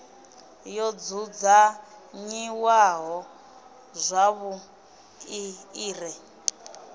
yo dzudzanyiwaho zwavhuḓi i re